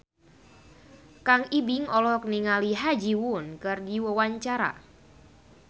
Kang Ibing olohok ningali Ha Ji Won keur diwawancara